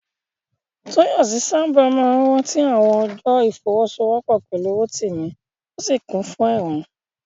Tóyọ̀sí sáábà máa rántí àwọn ọjọ́ ìfọwọ́sowọ́pọ̀ pẹ̀lú Rótìmí, ó sì kún fún ẹ̀rín